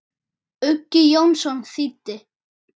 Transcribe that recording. Uggi Jónsson þýddi.